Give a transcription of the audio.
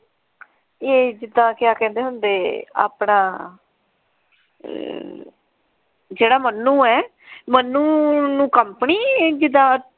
ਐ ਜਿਦਾਂ ਕਿਆ ਕਹਿੰਦੇ ਹੁੰਦੇ ਆਪਣਾ ਜਿਹੜਾ ਮੰਨੂ ਐ ਮੰਨੂ ਨੂੰ ਕੰਪਨੀ ਜਿਦਾਂ।